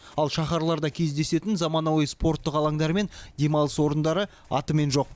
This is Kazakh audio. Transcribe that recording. ал шаһарларда кездесетін заманауи спорттық алаңдар мен демалыс орындары атымен жоқ